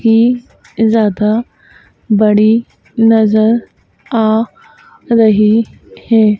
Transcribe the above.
ही ज़्यादा बड़ी नज़र आ रही है।